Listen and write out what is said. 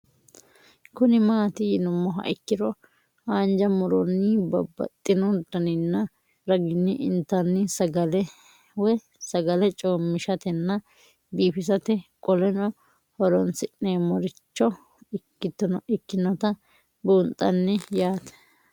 Kuni mati yinumoha ikiro hanja muroni babaxino daninina ragini intani sagale woyi sagali comishatenna bifisate qoleno horonsine'morich ikinota bunxani yaate